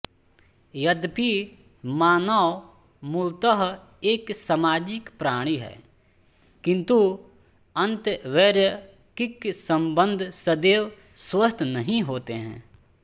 यद्यपि मानव मूलतः एक सामाजिक प्राणी है किन्तु अंतर्वैयक्तिक संबंध सदैव स्वस्थ नहीं होते हैं